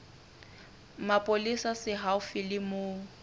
mapolesa se haufi le moo